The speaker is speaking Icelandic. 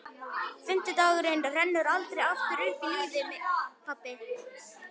Fimmti dagurinn rennur aldrei aftur upp í lífi pabba.